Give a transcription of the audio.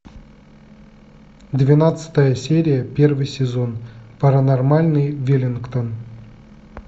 двенадцатая серия первый сезон паранормальный веллингтон